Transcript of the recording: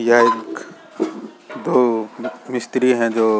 है तो मिस्त्री है जो --